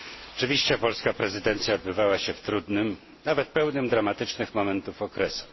Oczywiście polska prezydencja odbywała się w trudnym, nawet pełnym dramatycznych momentów okresie.